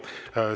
Ei soovi.